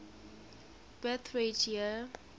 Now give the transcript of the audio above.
birth rate year